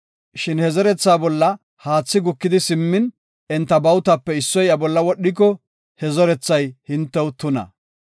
Shin he zerethaa bolla haathi gukidi simmin, enta bawutape issoy iya bolla wodhiko, he zerethay hintew tuna.